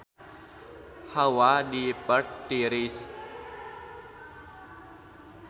Hawa di Perth tiris